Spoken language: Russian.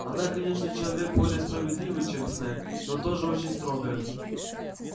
она конечно человек более справедливый чем снегг но тоже очень строгая